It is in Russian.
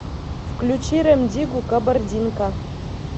включи рем диггу кабардинка